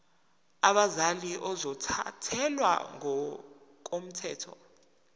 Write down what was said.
abazali ozothathele ngokomthetho